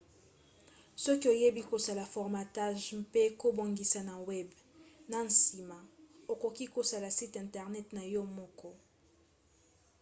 soki oyebi kosala formatage mpe kobongisa na web na nsima okoki kosala site internet na yo moko